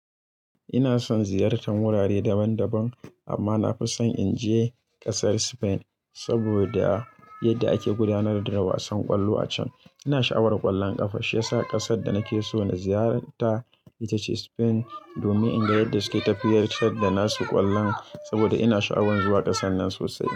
Ina son ziyartar wurare daban-daban amma na fi so in je ƙasar Spain saboda yadda ake gudanar da wasan ƙwallo a can. Ina sha'awar ƙwallon ƙafa shiyasa ƙasar da nake so na ziyarta ita ce Spain domin inda yadda suke tafiyar da nasu ƙwallon saboda ina sha'awan zuwa ƙasar nan sosai.